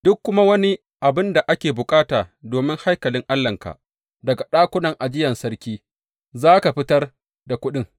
Duk kuma wani abin da ake bukata domin haikalin Allahnka, daga ɗakunan ajiya sarki za ka fitar da kuɗin.